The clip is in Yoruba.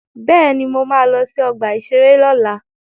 Bẹ́ẹ̀ni, mo ma lọ sí ọgbà-ìṣeré lọ́la